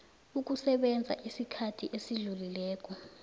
ukusebenza isikhathi esidluleleko